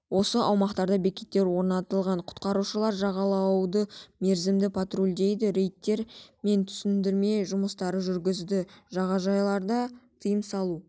осы аумақтарда бекеттер орнатылған құтқарушылар жағалауды мерзімді патрульдейді рейдтер мен түсіндірме жұмыстарын жүргізеді жағажайларда тыйым салу